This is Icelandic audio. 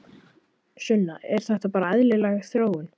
Sunna: Er þetta bara eðlileg þróun?